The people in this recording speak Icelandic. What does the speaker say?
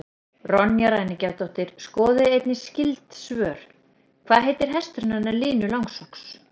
Ronja ræningjadóttir Skoðið einnig skyld svör: Hvað heitir hesturinn hennar Línu Langsokks?